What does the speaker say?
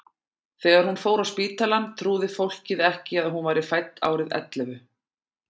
Þegar hún fór á spítalann trúði fólkið ekki að hún væri fædd árið ellefu.